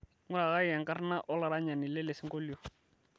ng'urakaki enkarna olaranyani lelesingolio